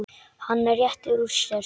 Hann rétti úr sér.